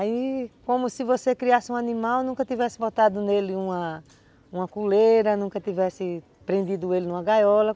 Aí, como se você criasse um animal, nunca tivesse botado nele uma uma coleira, nunca tivesse prendido ele numa gaiola.